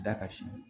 Da ka si